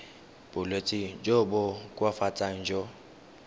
bolwetsi jo bo koafatsang jo